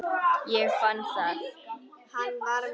Ég fann það!